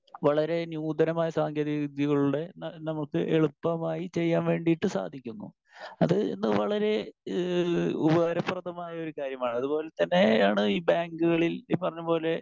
Speaker 1 വളരെ നൂതനമായ സാങ്കേതികവിദ്യകളിലൂടെ നമുക്ക് എളുപ്പമായി ചെയ്യാൻ വേണ്ടീട്ട് സാധിക്കുന്നു. അത് ഇന്ന് വളരെ ഉപകാരപ്രദമായ ഒരു കാര്യമാണ്. അതുപോലെ തന്നെയാണ് ഈ ബാങ്കുകളിൽ ഈ പറഞ്ഞപോലെ